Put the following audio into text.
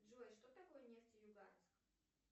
джой что такое нефтеюганск